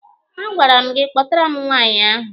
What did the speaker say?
A gwara m gị kpọtara m nwaanyị ahụ!